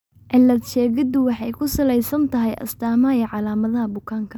Cilad-sheegiddu waxay ku salaysan tahay astaamaha iyo calaamadaha bukaanka.